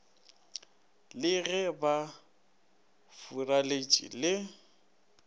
le ge ba furaletše le